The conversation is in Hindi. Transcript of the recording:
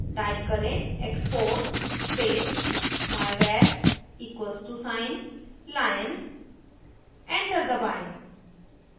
type करें export space myvar equal to sign lion enter दबाएं